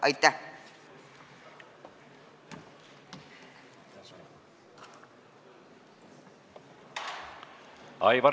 Aitäh!